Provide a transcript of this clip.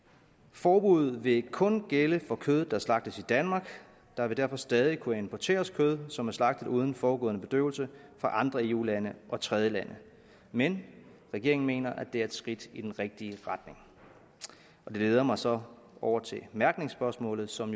forbuddet vil kun gælde for kød der slagtes i danmark der vil derfor stadig kunne importeres kød som er slagtet uden forudgående bedøvelse fra andre eu lande og tredjelande men regeringen mener at det er et skridt i den rigtige retning det leder mig så over til mærkningsspørgsmålet som